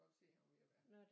Godt se han var ved at være